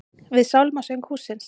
Við sálmasöng hússins.